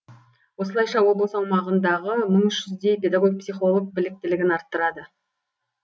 осылайша облыс аумағындағы мың үш жүздей педагог психолог біліктілігін арттырады